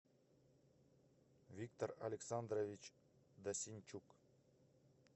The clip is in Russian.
виктор александрович досинчук